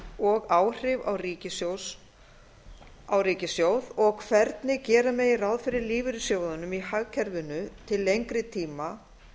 og áhrif á ríkissjóð og hvernig gera megi ráð fyrir lífeyrissjóðunum í hagkerfinu til lengri tíma